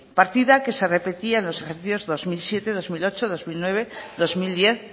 partida que se repetía en los ejercicio dos mil siete bi mila zortzi bi mila bederatzi bi mila hamar bi mila